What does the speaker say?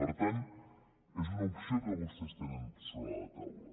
per tant és una opció que vostès tenen sobre la taula